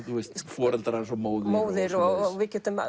foreldrar hans og móðir og